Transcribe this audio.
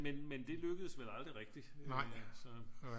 Men men det lykkedes vel aldrig rigtig